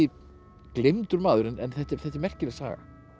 gleymdur maður en þetta er þetta er merkileg saga